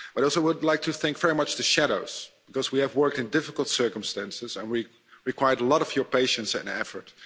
I would also like to thank very much the shadows because we have worked in difficult circumstances and we required a lot of your patience and efforts.